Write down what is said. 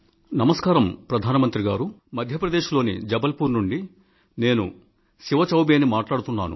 నమస్కారం ప్రధాన మంత్రి గారూ మధ్య ప్రదేశ్ లోని జబల్ పూర్ నుండి నేను శివ చౌబే ని మాట్లాడుతున్నాను